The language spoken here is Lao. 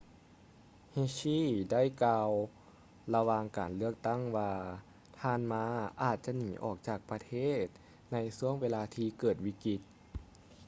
hsieh ໄດ້ກ່າວລະຫວ່າງການເລືອກຕັ້ງວ່າທ່ານ ma ອາດຈະໜີອອກຈາກປະເທດໃນຊ່ວງເວລາທີ່ເກີດວິກິດ